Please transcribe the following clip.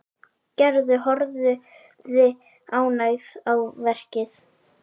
Gerður horfði ánægð á verkið.